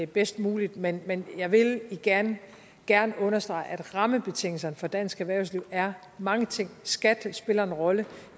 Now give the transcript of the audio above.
bedst muligt men men jeg vil igen gerne understrege at rammebetingelserne for dansk erhvervsliv er mange ting skat spiller en rolle